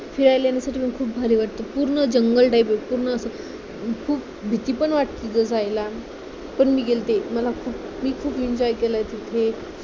फिरायला जाण्यासाठी मला खूप भारी वाटत पूर्ण जंगल type आहे पूर्ण असं खूप भीती पण वाटते तिथे जायला पण मी गेलते मला खूप मी खूप enjoy केलं तिथे